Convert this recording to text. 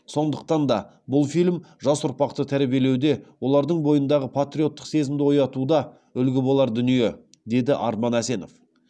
сондықтан да бұл фильм жас ұрпақты тәрбиелеуде олардың бойындағы патриоттық сезімді оятуда үлгі болар дүние деді арман әсенов